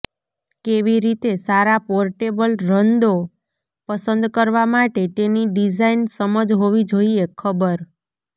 કેવી રીતે સારા પોર્ટેબલ રંદો પસંદ કરવા માટે તેની ડિઝાઇન સમજ હોવી જોઇએ ખબર